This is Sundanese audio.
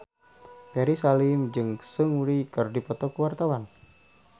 Ferry Salim jeung Seungri keur dipoto ku wartawan